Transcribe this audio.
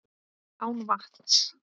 Án vatns.